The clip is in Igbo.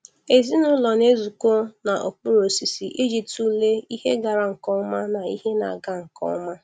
Ezinụlọ na-ezukọ n'okpuru osisi iji tụlee ihe gara nke ọma na ihe na-aga nke ọma.